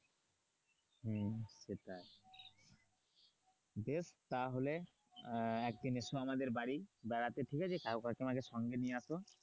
হম সেটাই বেশ তাহলে আহ একদিনের এসো আমাদের বাড়ি বেড়াতে ঠিক আছে কাকু কাকিমাকে সঙ্গে নিয়ে আসো,